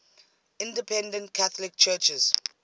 independent catholic churches